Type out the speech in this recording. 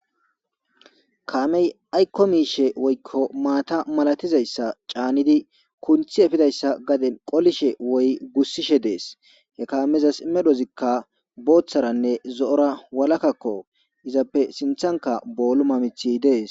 Kaamey aykko miishshe maata malatizayssa caanidi kunththi efishe woykko gussishe dees. He kaameza medhozi booththanne zo7ora walakakko .Izappe sinthankka booluma miththay dees.